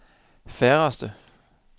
færreste